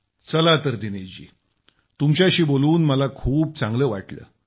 चला तर दिनेश जी तुमच्याशी बोलून मला खूप चांगलं वाटलं